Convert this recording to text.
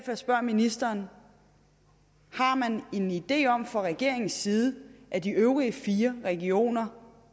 jeg spørger ministeren har man en idé om fra regeringens side at de øvrige fire regioner